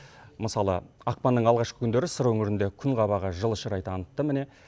мысалы ақпанның алғашқы күндері сыр өңірінде күн қабағы жылы шырай танытты міне